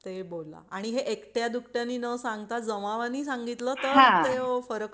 ते बोला आणि हे एकट्या दुकट्याने न सांगता जमावाने सांगितलं तर तेव्हा